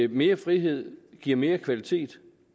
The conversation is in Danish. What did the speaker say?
mere frihed giver mere kvalitet